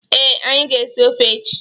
Ee, anyi ga-esi ọfe echi.